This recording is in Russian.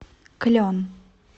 клен